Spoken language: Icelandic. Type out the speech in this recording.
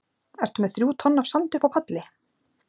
Ertu með þrjú tonn af sandi uppi á palli?